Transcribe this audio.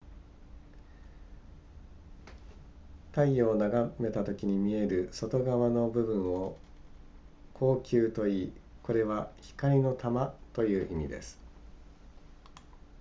太陽を眺めたときに見える外側の部分を光球といいこれは光の玉という意味です